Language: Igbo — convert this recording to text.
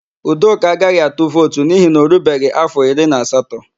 Udoka agaghị atu vootu n'ihi na o rubeghị áfọ iri na asatọ.